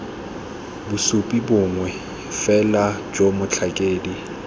bosupi bongwe fela jo motlhakedi